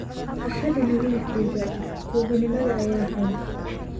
Ha xadin wiilkayga, tuuganimada ayaa xun.